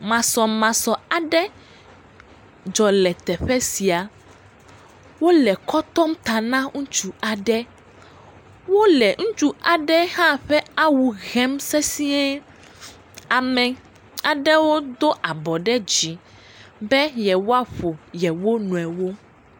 Masɔmasɔ aɖe dzɔ le teƒe sia, wole kɔ tɔm ta na ŋutsu aɖe, wole ŋutsu aɖe hã ƒe awu hem sesiẽ, ame aɖewo do abɔ ɖe dzi be yewoaƒo yewo nɔewo.